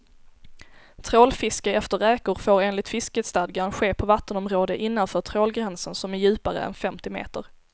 Trålfiske efter räkor får enligt fiskestadgan ske på vattenområde innanför trålgränsen som är djupare än femtio meter.